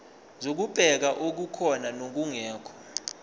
zokubheka okukhona nokungekho